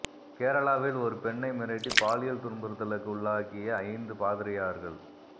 கேரளாவில் ஒரு பெண்ணை மிரட்டி பாலியல் துன்புறுத்தலுக்கு உள்ளாக்கிய ஐந்து பாதிரியார்கள்